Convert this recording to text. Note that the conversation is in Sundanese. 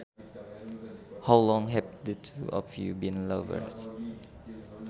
How long have the two of you been lovers